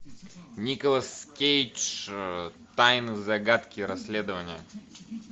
николас кейдж тайны загадки расследования